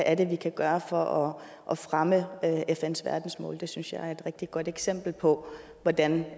er vi kan gøre for at fremme fns verdensmål det synes jeg er et rigtig godt eksempel på hvordan